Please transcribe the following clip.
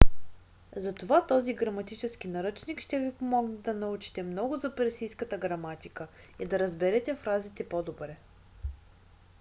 затова този граматически наръчник ще ви помогне да научите много за персийската граматика и да разберете фразите по-добре